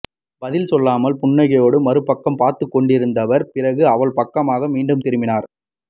பதில் சொல்லாமல் புன்னகையோடு மறுபக்கம் பார்த்துக்கொண்டிருந்தவர் பிறகு அவள் பக்கமாக மீண்டும் திரும்பினார்